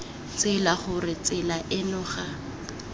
tsela gore tsela eno ga